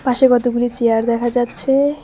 পাশে কতগুলি চেয়ার দেখা যাচ্ছে।